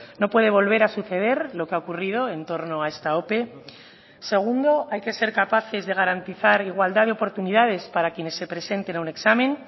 no puede volver a suceder lo que ha ocurrido en torno a esta ope segundo hay que ser capaces de garantizar igualdad de oportunidades para quienes se presenten a un examen